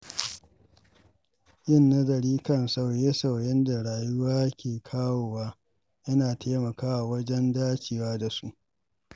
Yin nazari kan sauye-sauyen da rayuwa ke kawo wa yana taimakawa wajen dacewa da su.